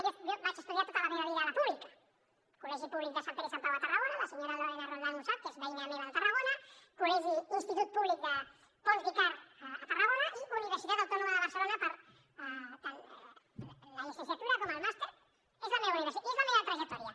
jo vaig estudiar tota la meva vida a la pública col·legi públic de sant pere i sant pau a tarragona la senyora lorena roldán ho sap que és veïna meva de tarragona col·legi institut públic de pons d’icart a tarragona i universitat autònoma de barcelona tant la llicenciatura com el màster i és la meva trajectòria